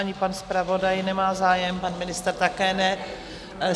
Ani pan zpravodaj nemá zájem, pan ministr také ne.